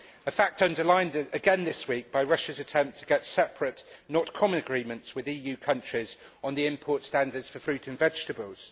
This fact was underlined again this week by Russia's attempt to get separate, not common, agreements with EU countries on the import standards for fruit and vegetables.